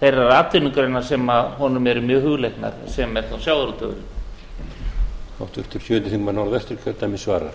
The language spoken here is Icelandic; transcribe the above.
þeirrar atvinnugreinar sem honum eru mjög hugleiknar sem er þá sjávarútvegurinn